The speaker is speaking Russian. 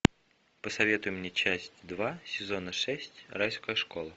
посоветуй мне часть два сезона шесть райская школа